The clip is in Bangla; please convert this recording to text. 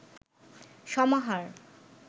সমাহার